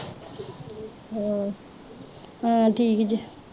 ਹਮ ਹਮ ਠੀਕ ਜੇ